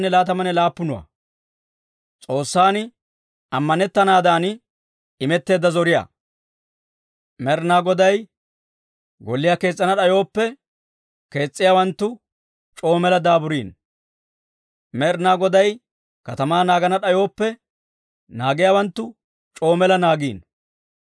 Med'inaa Goday golliyaa kees's'ana d'ayooppe, kees's'iyaawanttu c'oo mela daaburiino. Med'inaa Goday katamaa naagana d'ayooppe, naagiyaawanttu c'oo mela naagiino.